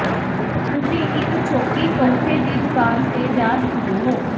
ਤੁਸੀਂ ਇੱਕ ਛੋਟੀ ਤੋਹਫ਼ੇ ਦੀ ਦੁਕਾਨ ਤੇ ਜਾ ਸਕਦੇ ਹੋ